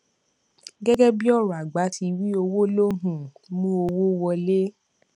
gẹgẹ bí ọrọ àgbà ti wí owó ló ń um mú owó wọlé